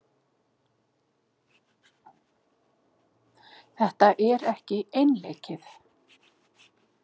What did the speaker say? Þetta er ekki einleikið.